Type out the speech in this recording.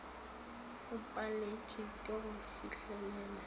o paletšwe ke go fihlelela